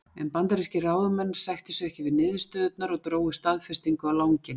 En bandarískir ráðamenn sættu sig ekki við niðurstöðurnar og drógu staðfestingu á langinn.